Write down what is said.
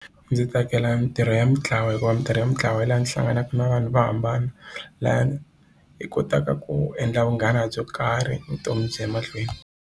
Ndzi tsakela mitirho ya mintlawa hikuva mitirho ya mintlawa ya laha ndzi hlanganaka na vanhu vo hambana laha hi kotaka ku endla vunghana byo karhi vutomi byi ya mahlweni.